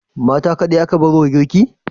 Mata kaɗai aka bar wa girki?